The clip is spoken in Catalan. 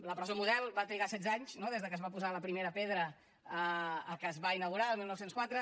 la presó model va trigar setze anys no des de que es va posar la primera pedra a que es va inaugurar el dinou zero quatre